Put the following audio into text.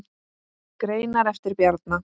Greinar eftir Bjarna